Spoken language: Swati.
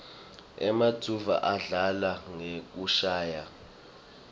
emanuodza adlala ngekushayaua